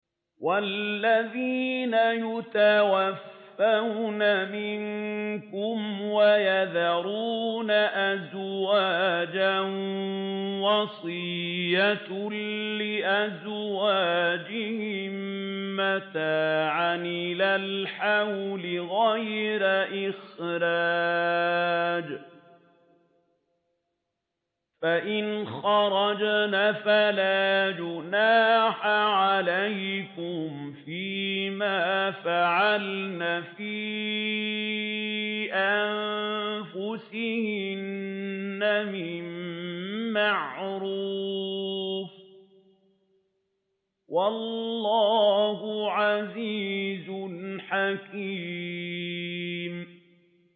وَالَّذِينَ يُتَوَفَّوْنَ مِنكُمْ وَيَذَرُونَ أَزْوَاجًا وَصِيَّةً لِّأَزْوَاجِهِم مَّتَاعًا إِلَى الْحَوْلِ غَيْرَ إِخْرَاجٍ ۚ فَإِنْ خَرَجْنَ فَلَا جُنَاحَ عَلَيْكُمْ فِي مَا فَعَلْنَ فِي أَنفُسِهِنَّ مِن مَّعْرُوفٍ ۗ وَاللَّهُ عَزِيزٌ حَكِيمٌ